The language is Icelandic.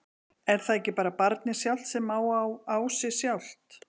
Er það ekki bara barnið sjálft sem að á sig sjálft?